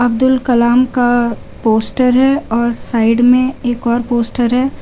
अब्दुल कलाम का पोस्टर है और साइड में एक और पोस्टर है।